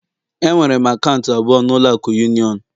Enwere m akaụntụ abụọ na ụlọ akụ union